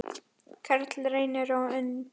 Karl Reynir og Unnur.